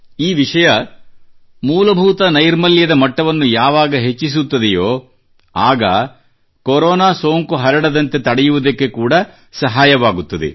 ಈ ವಿಷಯ ಮೂಲಭೂತ ನೈರ್ಮಲ್ಯದ ಬೇಸಿಕ್ ಹೈಜೀನ್ ಮಟ್ಟವನ್ನು ಯಾವಾಗ ಹೆಚ್ಚಿಸುತ್ತದೆಯೋ ಆಗ ಕೋರೊನಾ ಸೋಂಕು ಹರಡದಂತೆ ತಡೆಯವುದಕ್ಕೆ ಕೂಡಾ ಸಹಾಯವಾಗುತ್ತದೆ